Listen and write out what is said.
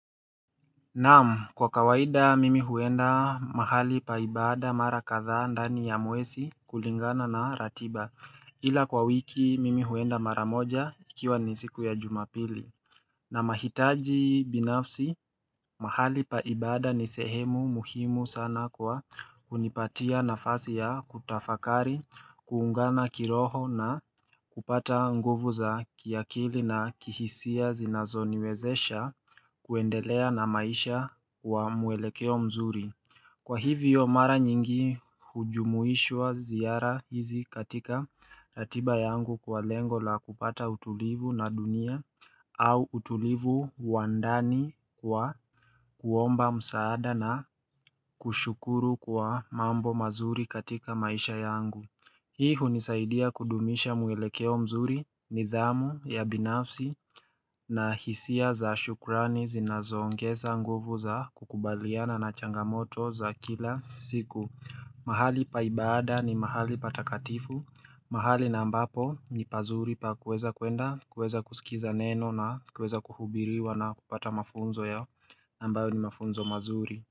Naam kwa kawaida mimi huenda mahali pa ibada mara kadhaa ndani ya mwesi kulingana na ratiba ila kwa wiki mimi huenda mara moja ikiwa ni siku ya jumapili na mahitaji binafsi mahali pa ibada ni sehemu muhimu sana kwa hunipatia nafasi ya kutafakari kuungana kiroho na kupata nguvu za kiakili na kihisia zinazoniwezesha kuendelea na maisha wa mwelekeo mzuri Kwa hivyo mara nyingi hujumuishwa ziyara hizi katika ratiba yangu kwa lengo la kupata utulivu na dunia au utulivu wa ndani kwa kuomba msaada na kushukuru kwa mambo mazuri katika maisha yangu Hii hunisaidia kudumisha muelekeo mzuri nidhamu ya binafsi na hisia za shukurani zinazongeza nguvu za kukubaliana na changamoto za kila siku mahali pa ibada ni mahali patakatifu mahali na ambapo ni pazuri pa kueza kuenda, kueza kusikiza neno na kueza kuhubiriwa na kupata mafunzo yao ambayo ni mafunzo mazuri.